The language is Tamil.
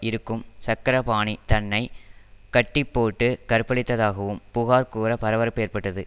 இருக்கும் சக்கரபாணி தன்னை கட்டிப்போட்டு கற்பழித்ததாகவும் புகார்கூற பரபரப்பு ஏற்பட்டது